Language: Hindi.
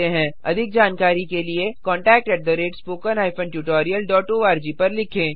अधिक जानकारी के लिए contactspoken tutorialorg पर लिखें